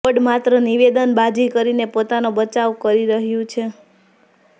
board માત્ર નિવેદનબાજી કરીને પોતાનો બચાવ કરી રહ્યું છે